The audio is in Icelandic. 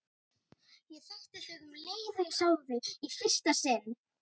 Ég þekkti þig um leið og ég sá þig í fyrsta sinn.